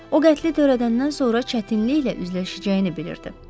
O qətli törədəndən sonra çətinliklə üzləşəcəyini bilirdi.